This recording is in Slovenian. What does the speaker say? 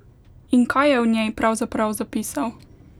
In kaj je v njej pravzaprav zapisal?